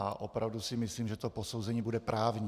A opravdu si myslím, že to posouzení bude právní.